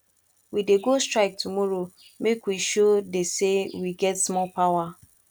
we dey go strike tomorrow make we show de say we get small power